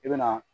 I bɛna